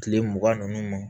Kile mugan ni duuru ma